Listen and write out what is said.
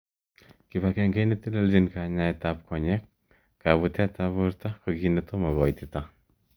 Kipagenge neteleljin kanyaet an konyek. kabutet ab borto ko ki netomo koitita.